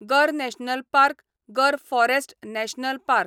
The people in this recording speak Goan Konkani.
गर नॅशनल पार्क गर फॉरस्ट नॅशनल पार्क